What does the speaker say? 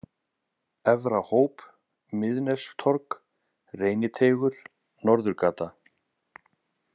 Efrahóp, Miðnestorg, Reyniteigur, Norðurgata